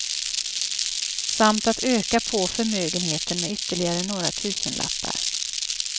Samt att öka på förmögenheten med ytterligare några tusenlappar.